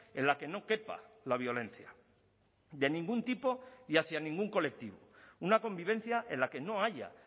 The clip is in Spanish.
en la que no quepa la violencia de ningún tipo y hacia ningún colectivo una convivencia en la que no haya